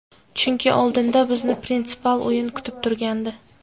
Chunki oldinda bizni prinsipial o‘yin kutib turgandi.